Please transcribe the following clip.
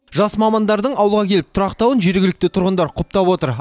жас мамандардың ауылға келіп тұрақтауын жергілікті тұрғындар құптап отыр